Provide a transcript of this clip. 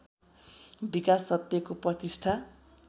विकास सत्यको प्रतिष्ठा